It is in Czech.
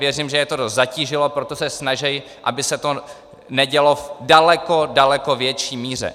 Věřím, že je to dost zatížilo, proto se snaží, aby se to nedělo v daleko, daleko větší míře.